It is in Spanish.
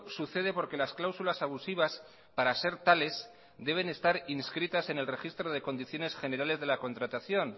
sucede porque las cláusulas abusivas para ser tales deben estar inscritas en el registro de condiciones generales de la contratación